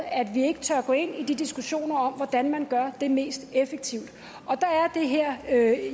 at vi ikke tør gå ind i de diskussioner om hvordan man gør det mest effektivt der er